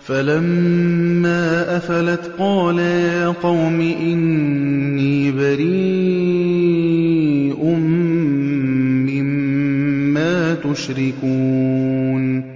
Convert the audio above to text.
فَلَمَّا أَفَلَتْ قَالَ يَا قَوْمِ إِنِّي بَرِيءٌ مِّمَّا تُشْرِكُونَ